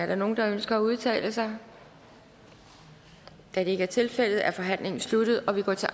der nogen der ønsker at udtale sig da det ikke er tilfældet er forhandlingen sluttet og vi går til